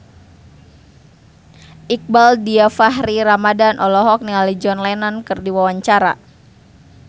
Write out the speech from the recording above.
Iqbaal Dhiafakhri Ramadhan olohok ningali John Lennon keur diwawancara